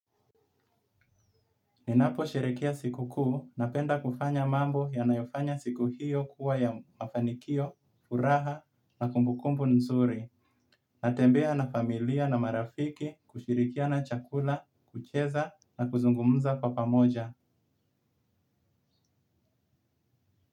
Ninaposhirikia sikukuu napenda kufanya mambo yanayofanya siku hiyo kuwa ya mafanikio, furaha na kumbukumbu nzuri. Natembea na familia na marafiki kushirikiana chakula, kucheza na kuzungumza kwa pamoja.